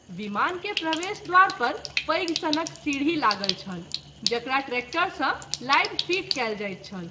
विमान के प्रवेश द्वार पर पैघ सनक सीढी लागल छल , जकरा ट्रेक्टर सँ लाबि फीट कएल जाइत छल।